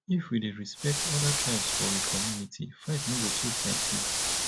if we dey respect other tribes for we community fight no go too plenty